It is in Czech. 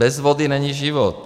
Bez vody není život.